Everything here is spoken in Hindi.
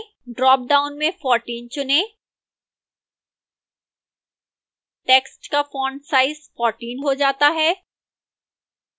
ड्रापडाउन में 14 चुनें टेक्स्ट का font size 14 हो जाता है